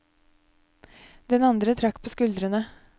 Den andre trakk på skuldrene.